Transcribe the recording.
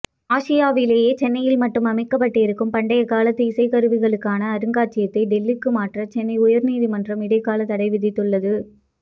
ஆசியாவிலேயே சென்னையில் மட்டும் அமைக்கப்பட்டிருக்கும் பண்டைய காலத்து இசைக்கருவிகளுக்கான அருங்காட்சியகத்தை டெல்லிக்கு மாற்ற சென்னை உயர்நீதிமன்றம் இடைக்காலதடை விதித்துள்ளது